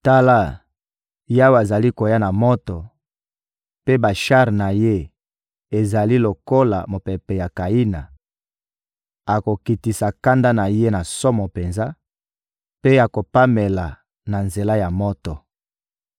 Tala, Yawe azali koya na moto, mpe bashar na Ye ezali lokola mopepe ya kayina; akokitisa kanda na Ye na somo penza mpe akopamela na nzela ya moto.